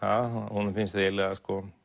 honum finnst eiginlega